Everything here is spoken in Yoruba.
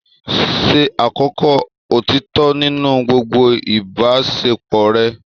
Ṣe àkọ́kọ́ òtítọ́ nínú gbogbo ìbáṣepọ̀ rẹ.